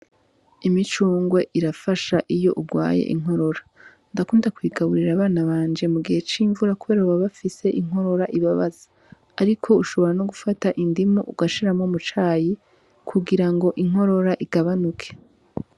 Imicungwe irafasha iyo urwaye inkorora ndakunda kuyigaburira abana banje mu gihe c'imvura, kubera baba bafise inkorora ibabaza, ariko ushobora no gufata indimu ugashiramwo mucayi kugira ngo inkorora igabanuke.